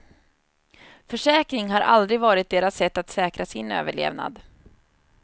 Försäkring har aldrig varit deras sätt att säkra sin överlevnad.